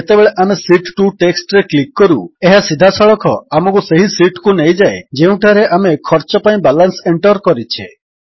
ଯେତେବେଳେ ଆମେ sheet 2 text ରେ କ୍ଲିକ୍ କରୁ ଏହା ସିଧାସଳଖ ଆମକୁ ସେହି ଶୀଟ୍ କୁ ନେଇଯାଏ ଯେଉଁଠାରେ ଆମେ ଖର୍ଚ୍ଚ ପାଇଁ ବାଲାନ୍ସ ଏଣ୍ଟର୍ କରିଛେ